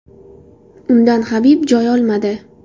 Undan Habib joy olmadi.